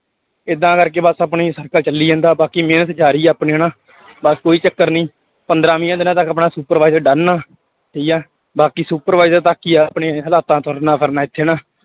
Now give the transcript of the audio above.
ਏਦਾਂ ਕਰਕੇ ਬਸ ਆਪਣੀ circle ਚੱਲੀ ਜਾਂਦਾ ਬਾਕੀ ਮਿਹਨਤ ਜ਼ਾਰੀ ਆਪਣੀ ਹਨਾ ਬਸ ਕੋਈ ਚੱਕਰ ਨੀ ਪੰਦਰਾਂ ਵੀਹਾਂ ਦਿਨਾਂ ਤੱਕ ਆਪਣਾ supervise done ਆ, ਠੀਕ ਆ ਬਾਕੀ supervisor ਬਾਕੀ ਆਪਣੇ ਹਾਲਾਤਾਂ ਤੁਰਨਾ ਫਿਰਨਾ ਇੱਥੇ ਹਨਾ।